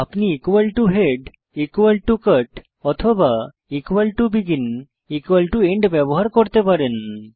আপনি head cut অথবা begin end ব্যবহার করতে পারেন